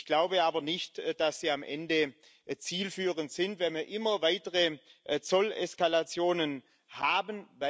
Ich glaube aber nicht, dass sie am Ende zielführend sind, wenn wir immer weitere Zolleskalationen haben.